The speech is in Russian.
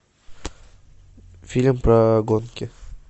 фильм про гонки